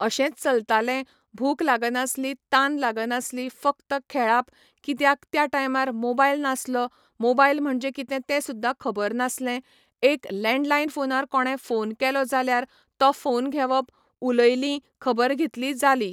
अशेंच चलताले भूक लागनासली तान लागनासलीं फक्त खेळाप कित्याक त्या टायमार मोबायल नासलो मोबायल म्हणजे कितें तें सुद्दां खबर नासलें एक लेंडलायन फोनार कोणें फोन केलो जाल्यार तो फोन घेवप उलयलीं खबर घेतली जाली.